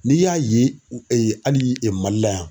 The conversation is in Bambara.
N'i y'a ye hali MALI la yan.